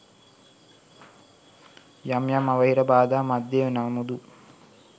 යම් යම් අවහිර බාධා මධ්‍යයේ නමුදු